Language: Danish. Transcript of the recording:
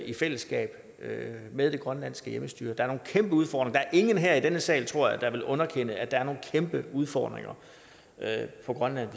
i fællesskab med med det grønlandske selvstyre der er nogle kæmpe udfordringer er ingen her i denne sal tror jeg der vil underkende at der er nogle kæmpe udfordringer på grønland